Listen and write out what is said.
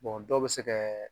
dɔw bɛ se kɛ.